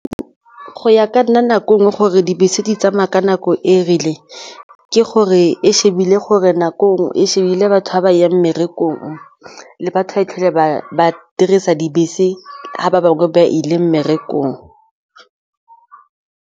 Go ya ka nna nako e nngwe ke gore dibese di tsamaya ka nako e rileng ke gore e shebile gore nako e shebile batho ba ba yang mmerekong le batho ba e tlhole ba dirisa dibese ga ba bangwe ba ile mmerekong.